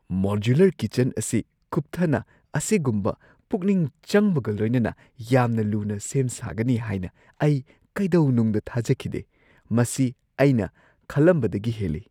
Modular kitchen ꯑꯁꯤ ꯀꯨꯞꯊꯅ ꯑꯁꯤꯒꯨꯝꯕ ꯄꯨꯛꯅꯤꯡ ꯆꯪꯕꯒ ꯂꯣꯏꯅꯅ ꯌꯥꯝꯅ ꯂꯨꯅ ꯁꯦꯝ ꯁꯥꯒꯅꯤ ꯍꯥꯏꯅ ꯑꯩ ꯀꯩꯗꯧꯅꯨꯡꯗ ꯊꯥꯖꯈꯤꯗꯦ ꯫ ꯃꯁꯤ ꯑꯩꯅ ꯈꯜꯂꯝꯕꯗꯒꯤ ꯍꯦꯜꯂꯤ ꯫